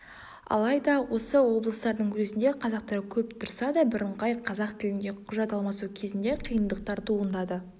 алайда осы облыстардың өзінде қазақтар көп тұрса да бірыңғай қазақ тілінде құжат алмасу кезінде қиындықтар туындады